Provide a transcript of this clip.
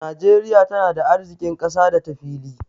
Najeriya tana da arziƙin ƙasa da ta fili.